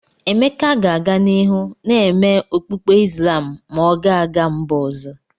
Emeka ga-aga n'ihu na-eme okpukpe Islam ma ọ ga-aga mba ọzọ.